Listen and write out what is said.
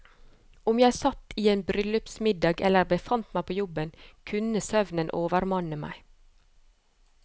Om jeg satt i en bryllupsmiddag eller befant meg på jobben, kunne søvnen overmanne meg.